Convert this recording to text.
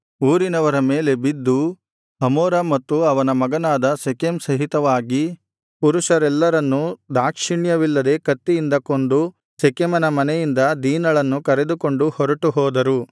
ಊರಿನವರ ಮೇಲೆ ಬಿದ್ದು ಹಮೋರ ಮತ್ತು ಅವನ ಮಗನಾದ ಶೆಕೆಮ್ ಸಹಿತವಾಗಿ ಪುರುಷರೆಲ್ಲರನ್ನೂ ದಾಕ್ಷಿಣ್ಯವಿಲ್ಲದೆ ಕತ್ತಿಯಿಂದ ಕೊಂದು ಶೆಕೆಮನ ಮನೆಯಿಂದ ದೀನಳನ್ನು ಕರೆದುಕೊಂಡು ಹೊರಟುಹೋದರು